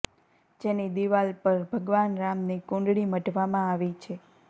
જેની દિવાલ પર ભગવાન રામની કુંડળી મઢવામાં આવી છે